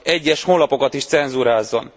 egyes honlapokat is cenzúrázzon.